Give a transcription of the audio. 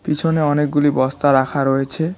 পিছনে অনেকগুলি বস্তা রাখা রয়েছে।